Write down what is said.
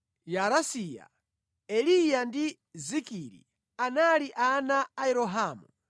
Yaaresiya, Eliya ndi Zikiri anali ana a Yerohamu.